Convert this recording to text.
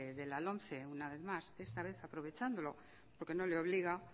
de la lomce una vez más esta vez aprovechándolo porque no le obliga